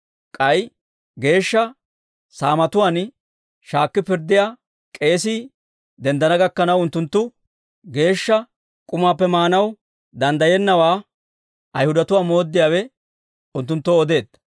K'ay Geeshsha Saamatuwaan shaakki pirddiyaa k'eesii denddana gakkanaw, unttunttu geeshsha k'umaappe maanaw danddayennawaa Ayhudatuwaa mooddiyaawe unttunttoo odeedda.